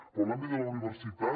però en l’àmbit de la universitat